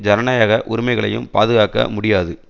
ஜனநாயக உரிமைகளையும் பாதுகாக்க முடியாது